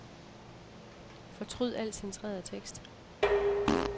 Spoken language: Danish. Fortryd al centreret tekst.